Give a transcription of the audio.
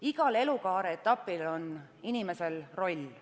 Igal elukaare etapil on inimesel roll.